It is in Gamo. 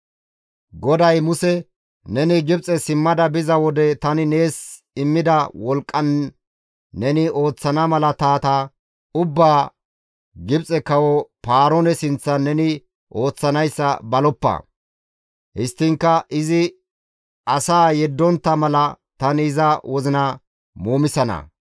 GODAY Muse, «Neni Gibxe simmada biza wode tani nees immida wolqqan neni ooththana malaatata ubbaa Gibxe kawo Paaroone sinththan neni ooththanayssa baloppa. Histtiinkka izi asaa yeddontta mala tani iza wozina muumisana.